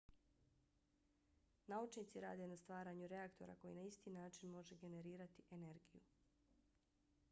naučnici rade na stvaranju reaktora koji na isti način može generirati energiju